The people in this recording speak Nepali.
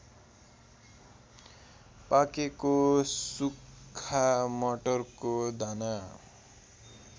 पाकेको सुक्खा मटरको दाना